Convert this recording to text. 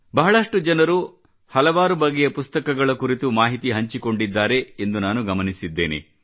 ಬಹಳಷ್ಟು ಜನರು ಹಲವಾರು ಬಗೆಯ ಪುಸ್ತಕಗಳ ಕುರಿತು ಮಾಹಿತಿ ಹಂಚಿಕೊಂಡಿದ್ದಾರೆ ಎಂದು ನಾನು ಗಮನಿಸಿದ್ದೇನೆ